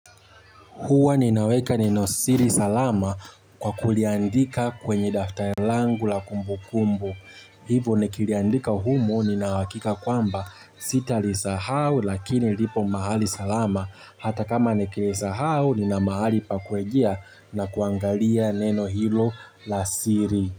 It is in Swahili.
Huwa ninaweka neno siri salama kwa kuliandika kwenye daftari langu la kumbu kumbu. Hivo nikiliandika humu ninahakika kwamba sita li sahau lakini lipo mahali salama hata kama nikilisahau nina mahali pa kwejia na kuangalia neno hilo la siri.